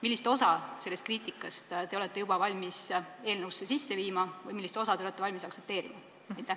Millist osa sellest kriitikast te olete juba valmis eelnõusse sisse viima või millist osa te olete valmis aktsepteerima?